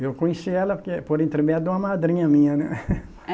Eu conheci ela, eh, por intermédio de uma madrinha minha, né?